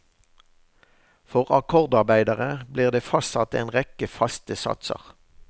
For akkordarbeiderne ble det fastsatt en rekke faste satser.